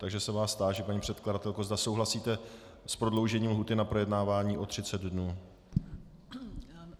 Takže se vás táži, paní předkladatelko, zda souhlasíte s prodloužením lhůty na projednávání o 30 dnů.